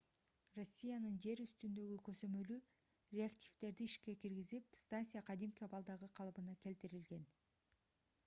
россиянын жер үстүндөгү көзөмөлү реактивдерди ишке киргизип станция кадимки абалдагы калыбына келтирилген